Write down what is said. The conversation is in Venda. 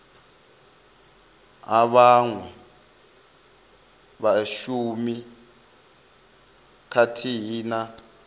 ha vhaṅwe vhashumi khathihi na